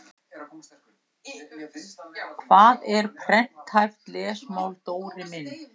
Hvað er prenthæft lesmál Dóri minn?